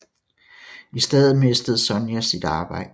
I stedet mistede Sonia sit arbejde